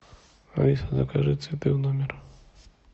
алиса закажи цветы в номер